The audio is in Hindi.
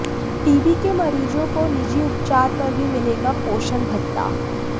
टीबी के मरीजों को निजी उपचार पर भी मिलेगा पोषण भत्ता